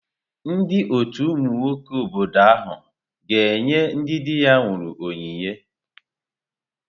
Ndị ọtù ụmụ nwoke obodo ha ga-enye ndị di ha nwụrụ onyinye?